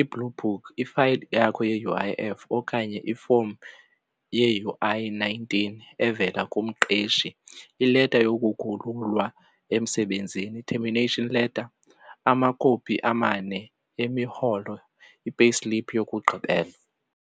i-blue book, ifayili yakho ye-U_I_F okanye ifomu ye-U_I nineteen evela kumqeshi, ileta yokukhululwa emsebenzini, i-termination letter, amakopi amane emirholo, i-payslip, yokugqibela.